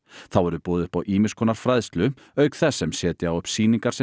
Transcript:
þá verður boðið upp á ýmiss konar fræðslu auk þess sem setja á upp sýningar sem